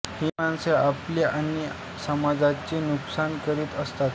ही माणसे आपले आणि समाजाचे नुकसान करीत असतात